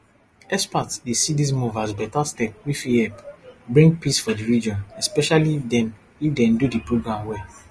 experts dey see dis move as beta step wey fit help bring peace for di region especially if dem if dem do di program well